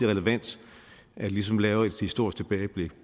relevant at vi ligesom laver et historisk tilbageblik